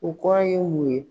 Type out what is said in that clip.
O kɔrɔ ye mun ye?